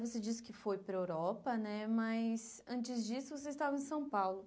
Você disse que foi para a Europa né, mas antes disso você estava em São Paulo.